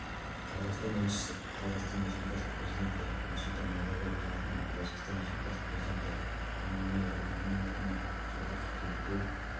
қазақстан елшісі қазақстан республикасының президенті нұрсұлтан назарбаевтың атынан тәжікстан республикасының президенті эмомали рахмонның атына жылғы қыркүйекте